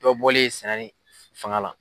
Dɔ bɔliye sɛnɛ ni fanga la.